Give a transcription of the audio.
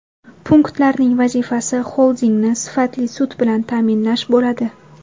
Punktlarning vazifasi xoldingni sifatli sut bilan ta’minlash bo‘ladi.